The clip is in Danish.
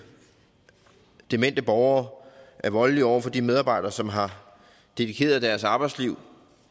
demente borgere er voldelige over for de medarbejdere som har dedikeret deres arbejdsliv